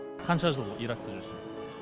қанша жыл иракта жүрсін